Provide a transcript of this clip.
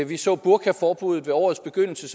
vi så burkaforbuddet ved årets begyndelse